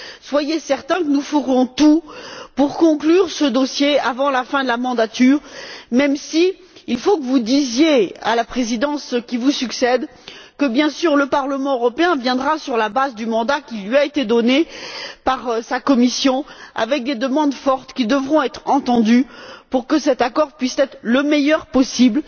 Soyez certains que nous ferons tout pour conclure ce dossier avant la fin de la législature, même s'il faut que vous disiez à la Présidence qui vous succède que, bien sûr, le Parlement européen présentera, sur la base du mandat qui lui a été donné par sa commission, des demandes fortes qui devront être entendues pour que cet accord puisse être le meilleur possible.